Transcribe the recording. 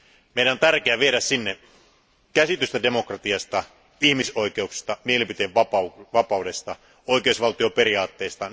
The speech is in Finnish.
Meidän on tärkeä viedä sinne käsitystä demokratiasta, ihmisoikeuksista, mielipiteenvapaudesta ja oikeusvaltioperiaatteista.